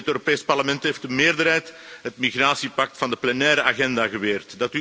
Overigens, ook in het Europees Parlement heeft de meerderheid het migratiepact van de plenaire agenda geweerd.